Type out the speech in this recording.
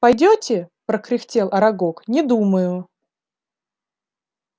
пойдёте прокряхтел арагог не думаю